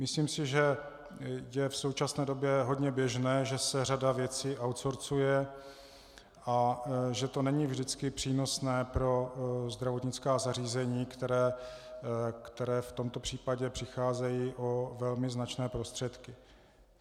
Myslím si, že je v současné době hodně běžné, že se řada věcí outsourceuje a že to není vždycky přínosné pro zdravotnická zařízení, která v tomto případě přicházejí o velmi značné prostředky.